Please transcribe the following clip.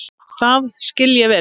Það skil ég vel!